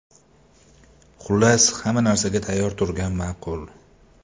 Xullas, hamma narsaga tayyor turgan ma’qul.